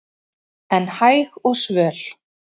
en hæg og svöl